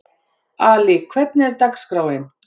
Ali, hvernig er dagskráin?